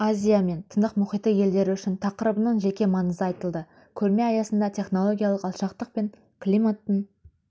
азия мен тынық мұхиты елдері үшін тақырыбының жеке маңызы айтылды көрме аясында технологиялық алшақтық пен климаттың